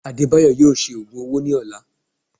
Adebayo yóò ṣe ogùn ọwọ ní ọlà